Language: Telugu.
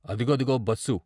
అదిగదిగో బస్సు.